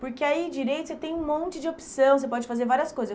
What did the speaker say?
Porque aí Direito você tem um monte de opção, você pode fazer várias coisas.